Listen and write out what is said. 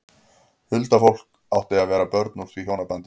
Huldufólk átti að vera börn úr því hjónabandi.